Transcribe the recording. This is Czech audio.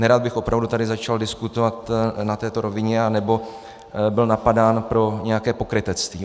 Nerad bych opravdu tady začal diskutovat na této rovině anebo byl napadán pro nějaké pokrytectví.